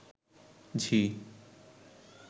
ঝি